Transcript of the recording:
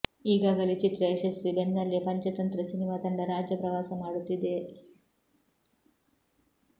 ಈಗಾಗಲೇ ಚಿತ್ರ ಯಶಸ್ವಿ ಬೆನ್ನಲ್ಲೆ ಪಂಚತಂತ್ರ ಸಿನಿಮಾ ತಂಡ ರಾಜ್ಯ ಪ್ರವಾಸ ಮಾಡುತ್ತಿದೆ